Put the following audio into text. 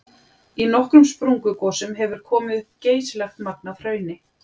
Í nokkrum sprungugosum hefur komið upp geysilegt magn af hrauni.